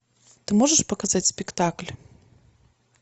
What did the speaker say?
ты можешь показать спектакль